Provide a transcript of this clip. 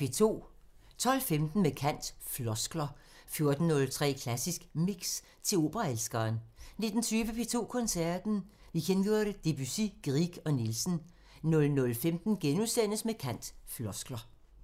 12:15: Med kant – Floskler 14:03: Klassisk Mix – til operaelskeren 19:20: P2 Koncerten – Vikingur, Debussy, Grieg og Nielsen 00:15: Med kant – Floskler *